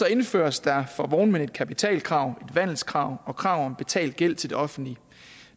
indføres der for vognmænd et kapitalkrav et vandelskrav og krav om betalt gæld til det offentlige